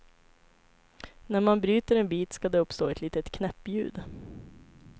När man bryter en bit ska det uppstå ett litet knäppljud.